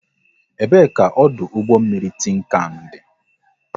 Ebe ka ọdụ ụgbọ mmiri Tinkan dị?